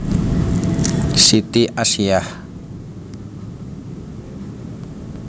Siti Asiyah